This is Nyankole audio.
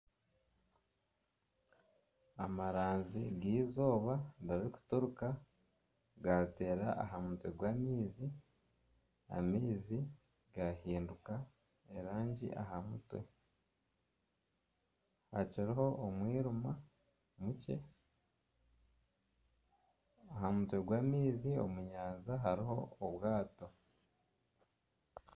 Amaranzi g'eizooba gari gutoroka gaateera aha mutwe gw'amaizi, amaizi gaahinduka erangi aha mutwe. Hakiriho omwirima nyekiro. Aha mutwe gw'amaizi omu nyanja hariho obwato.